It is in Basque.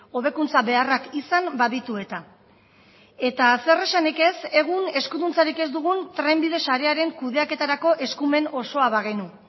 hobekuntza beharrak izan baditu eta eta zer esanik ez egun eskuduntzarik ez dugun trenbide sarearen kudeaketarako eskumen osoa bagenu